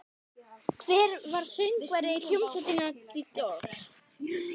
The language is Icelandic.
Hver var söngvari hljómsveitarinnar The Doors?